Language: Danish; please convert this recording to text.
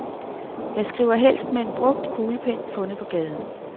Jeg skriver helst med en brugt kuglepen fundet på gaden.